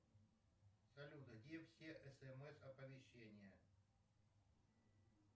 салют а где все смс оповещения